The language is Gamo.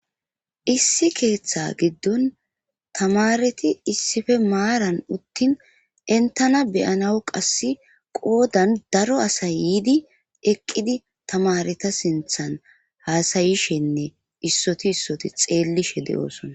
Issi keeththa giddon tamareti issippr maaran uttin entana beyanaw qassi qodan daro asay yiidi eqqidi tamareta sinthan haasayishenne issoti issoti xeellishe de'osona.